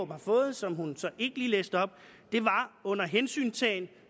har fået og som hun så ikke lige læste op var under hensyntagen